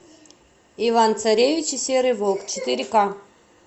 иван царевич и серый волк четыре к